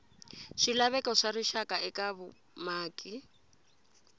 swilaveko swa rixaka eka vumaki